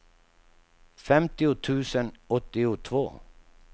femtio tusen åttiotvå